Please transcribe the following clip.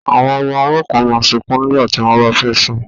Àwọn ọmọ ọwọ́ kan máa sunkún nígbà tí wọ́n bá fẹ́ sùn